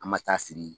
An ma taa siri